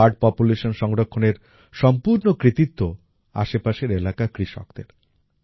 এখানে bird population সংরক্ষণের সম্পূর্ণ কৃতিত্ব আশেপাশের এলাকার কৃষকদের